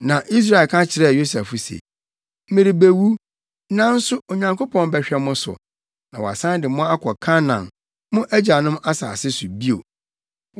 Na Israel ka kyerɛɛ Yosef se, “Merebewu, nanso Onyankopɔn bɛhwɛ mo so, na wasan de mo akɔ Kanaan, mo agyanom asase so bio.